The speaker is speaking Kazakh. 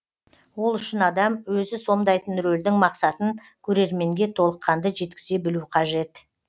ол үшін адам өзі сомдайтын рөлдің мақсатын көрерменге толыққанды жеткізе білу қажет